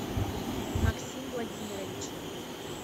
максим владимирович